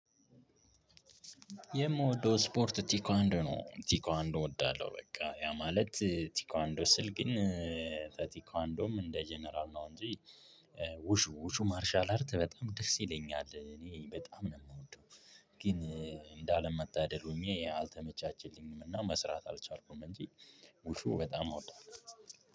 የምወደው ስፖርት ቲኳንዶ ነው ቲኳንዶ እወዳለሁ በቃ ያ ማለት ቲኳንዶ ስል ግን በቲኳንዶም እንደ ጀነራል ነው እንጂ ውሹ ውሹ ማርሻል አርት በጣም ደስ ይለኛል እኔ በጣም ነው የምወደው። ግን እንደ አለ መታደል ሆኜ አልተመቻችልኝም እና መስራት አልቻልኩም እንጂ ውሹ በጣም አወዳለሁ።